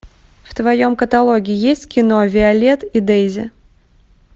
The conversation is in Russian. в твоем каталоге есть кино виолет и дейзи